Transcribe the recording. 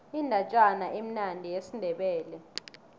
indatjana emnandi yesindebele